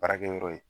Baarakɛyɔrɔ ye